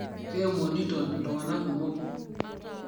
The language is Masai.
Keemonito ltungana kumo